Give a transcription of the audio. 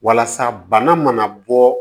Walasa bana mana bɔ